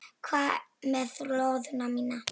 Hvað með lóðina mína!